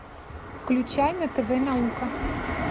включай на тв наука